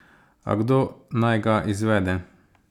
A kdo naj ga izvede?